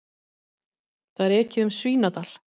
Það er ekið um Svínadal.